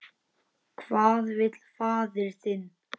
Hvað vill faðir þinn?